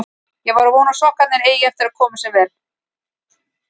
Ég vona að sokkarnir eigi eftir að koma sér vel.